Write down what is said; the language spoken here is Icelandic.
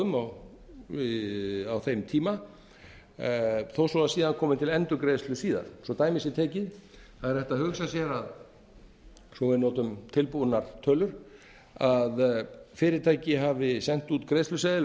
um á þeim tíma þó svo síðan komi til endurgreiðslu síðar svo dæmi sé tekið er hægt að hugsa sér að svo við notum tilbúnar tölur að fyrirtæki hafi sent út greiðsluseðil